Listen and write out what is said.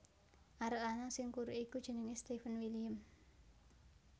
Arek lanang sing kuru iku jenenge Stefan William